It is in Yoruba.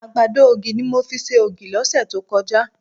Àgbàdo ògì ni mo fi ṣe ògì lọ́sẹ̀ tó kọjá